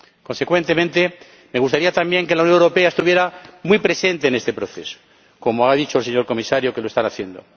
Consecuentemente, me gustaría, también, que la Unión Europea estuviera muy presente en este proceso, como ha dicho el señor Comisario que lo está haciendo.